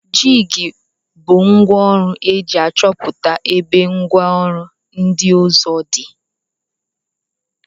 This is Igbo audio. jig bu ngwa ọrụ eji achọputa ebe ngwa ọrụ ndi ọzọ di.